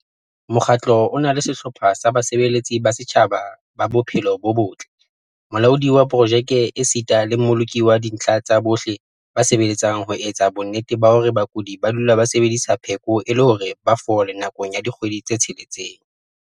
Mokgatlo o na le sehlopha sa basebeletsi ba setjhaba ba bophelo bo botle, molaodi wa projeke esita le mmoloki wa dintlha tsa bohle ba sebeletsang ho etsa bonnete ba hore bakudi ba dula ba sebedisa pheko e le hore ba fole nakong ya dikgwedi tse tsheletseng.